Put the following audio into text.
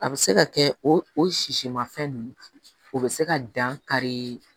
A bɛ se ka kɛ o o sisimafɛn ninnu o bɛ se ka dankari